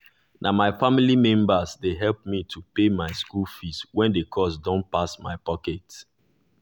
na my family members dey help me to pay my school fees when the cost dun pass my pocket